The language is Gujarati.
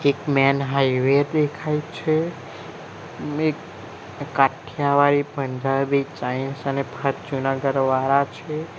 એક મેન હાઇવે દેખાય છે મેક કાઠીયાવાડી પંજાબી ચાઈનીઝ અને ફા જુનાગઢ વાળા છે.